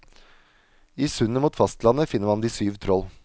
I sundet mot fastlandet finner man de syv troll.